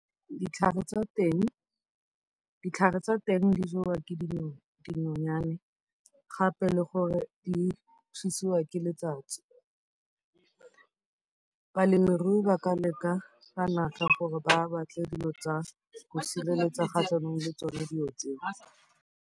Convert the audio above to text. Ditlhare tsa teng di jewa ke dinonyane gape le gore di fisiwa ke letsatsi. Balemirui ba ka leka ka natla gore ba batle dilo tsa go sireletsa kgatlhanong le tsone dilo tseo.